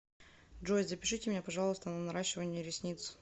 джой запишите меня пожалуйста на наращивание ресниц